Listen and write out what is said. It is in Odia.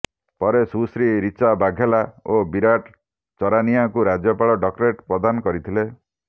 ପରେ ସୁଶ୍ରୀ ରିଚା ବାଘେଲା ଓ ବିରାଟ ଚରାନିଅଙ୍କୁ ରାଜ୍ୟପାଳ ଡକ୍ଟରେଟ୍ ପ୍ରଦାନ କରିଥିଲେ